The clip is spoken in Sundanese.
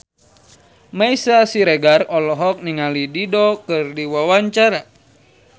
Meisya Siregar olohok ningali Dido keur diwawancara